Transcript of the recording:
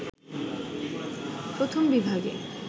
প্রথম বিভাগে